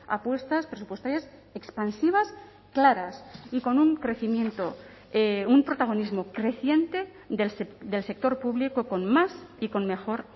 apuestas presupuestarias expansivas claras y con un crecimiento un protagonismo creciente del sector público con más y con mejor